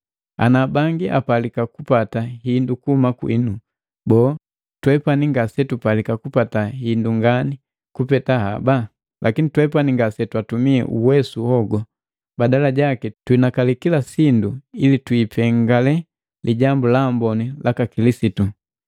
Ana bangi apalika kupata hindu kuhuma kwinu, boo, twepani ngasetupalika kupata hindu ngani kupeta haba? Lakini twepani ngasetwatumi uwesu hogu. Badala jaki tuhinakali kila sindu ili twiipengale Lijambu la Amboni laka Kilisitu.